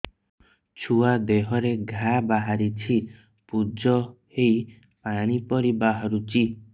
ଛୁଆ ଦେହରେ ଘା ବାହାରିଛି ପୁଜ ହେଇ ପାଣି ପରି ବାହାରୁଚି